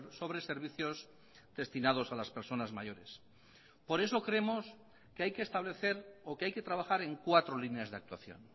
sobre servicios destinados a las personas mayores por eso creemos que hay que establecer o que hay que trabajar en cuatro líneas de actuación